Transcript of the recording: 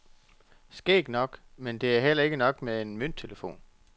Skægt nok, men det er heller ikke nok med en mønttelefon.